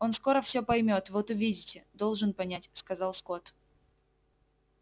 он скоро всё поймёт вот увидите должен понять сказал скотт